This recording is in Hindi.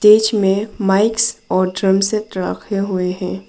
बीच में मिक्स और ड्रम सेट रखे हुए हैं।